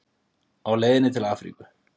Og á leiðinni til Afríku.